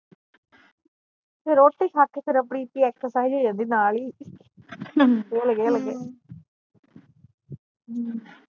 ਤੇ ਰੋਟੀ ਖਾ ਕੇ ਫਿਰ ਆਪਣੀ ਏਕ੍ਸਰਸਾਈਜ ਹੋ ਜਾਂਦੀ ਨਾਲ ਈ